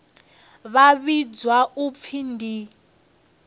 vha vhidzwa u pfi ndi